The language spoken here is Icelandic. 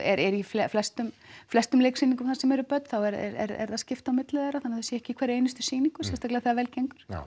í flestum flestum leiksýningum þar sem eru börn þá er því skipt á milli þeirra þannig að þau séu ekki í hverri einustu sýningu sérstaklega þegar vel gengur já